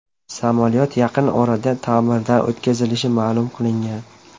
Samolyot yaqin orada ta’mirdan o‘tkazilishi ma’lum qilingan.